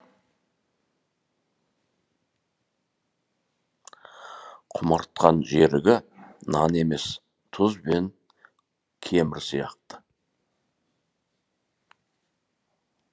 құмартқан жерігі нан емес тұз бен кемір сияқты